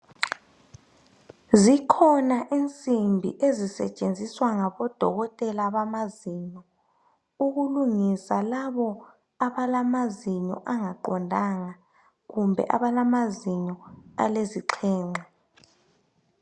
Zikhona insimbi ezisetshenziswa ngabodokotela bamazinyo, ukulungisa labo abalamazinyo angaqondanga kumbe abalamazinyo alezixhenxe.